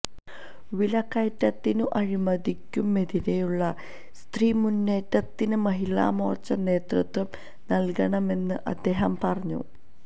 വിലക്കയറ്റത്തിനും അഴിമതിക്കുമെതിരെയുള്ള സ്ത്രീ മുന്നേറ്റത്തിന് മഹിളാമോര്ച്ച നേതൃത്വം നല്കണമെന്നും അദ്ദേഹം പറഞ്ഞു